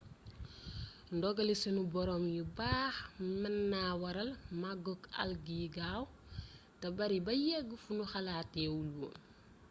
ndogali sunu boroom yu baax mën na waral màggug algues yi gaaw te bari ba yegg fu ñu xalaatee wul woon